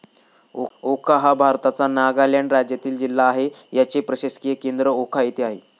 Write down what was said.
वोखा हा भारताच्या नागालँड राज्यातील जिल्हा आहे. याचे प्रशासकीय केंद्र वोखा येथे आहे.